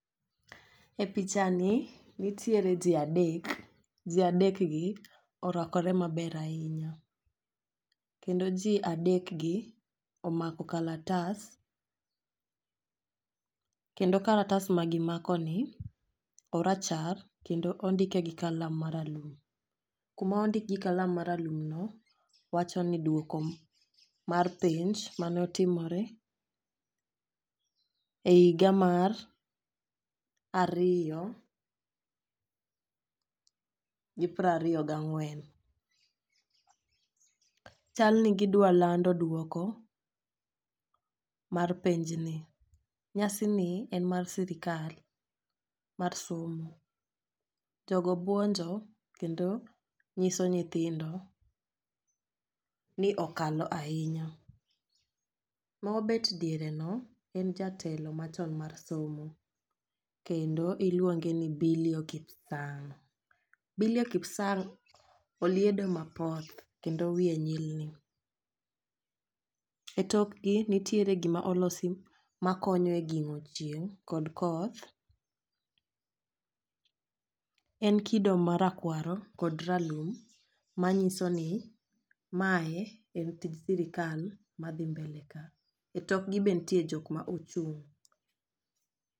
E picha ni nitiere jii adek, jii adek gi orwakore maber ahinya kendo jii adek gi omako kalatas kendo kalatas ma gimako ni orachar kendo ondike gi kalam maralum. Kuma ondikgi kalam maralum no wacho ni duoko mar penj manotimore e higa mar ariyo gi prariyo gang'wen . Chal ni gidwa lando duoko mar penj ni . Nyasi ni en mar sirikal mar somo jogo buonjo kendo nyiso nyithindo ni okalo ahinya. Mobet diere no en jatelo machon mar somo kendo iluonge ni Bilio kipsang. Bilio kipsang' oliedo mapoth kendo wiye nyilni .E tokgi nitiere gima olosi ma konyo e gIng'o chieng' kod koth. En kido marakwaro kod ralum manyiso ni mae en tij sirikal madhi mbele ka e tokgi be ntie jok ma ochung'.